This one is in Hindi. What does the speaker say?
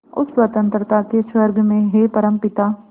उस स्वतंत्रता के स्वर्ग में हे परमपिता